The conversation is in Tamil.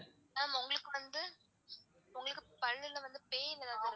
Ma'am உங்களுக்கு வந்து உங்களுக்கு பல்லுல வந்து pain எதாவது.